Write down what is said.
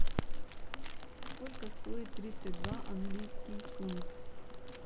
сколько стоит тридцать два английский фунт